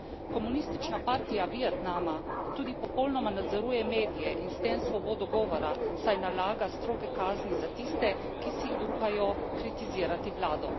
Komunistična partija Vietnama tudi popolnoma nadzoruje medije in s tem svobodo govora, saj nalaga stroge kazni za tiste, ki si upajo kritizirati vlado.